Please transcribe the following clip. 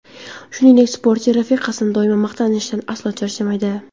Shuningdek, sportchi rafiqasini doimo maqtashdan aslo charchamaydi.